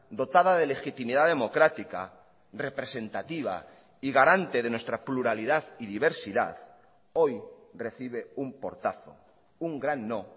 dotada de legitimidad democrática representativa y garante de nuestra pluralidad y diversidad hoy recibe un portazo un gran no